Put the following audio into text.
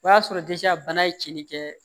O y'a sɔrɔ bana ye cɛnni kɛ